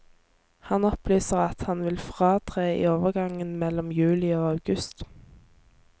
Han opplyser at han vil fratre i overgangen mellom juli og august.